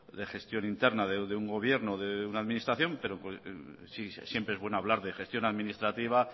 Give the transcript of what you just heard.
de gestión interna de un gobierno de una administración siempre es bueno hablar de gestión administrativa